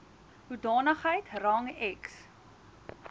hoedanigheid rang ex